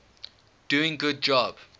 doing good job